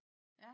Ja